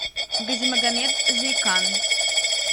газимагомед зейкан